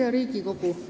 Hea Riigikogu!